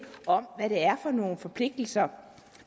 om hvad det er for nogle forpligtelser